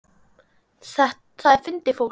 Það er fyndið fólk.